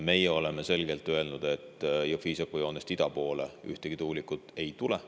Meie oleme selgelt öelnud, et Jõhvi-Iisaku joonest ida poole ühtegi tuulikut ei tule.